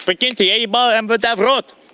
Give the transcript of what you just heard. прикинте я ебал мвд в рот